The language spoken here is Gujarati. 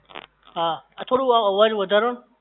હા આ થોડું અવાજ વધારો ન